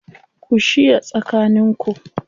Ku shiya tsakaninku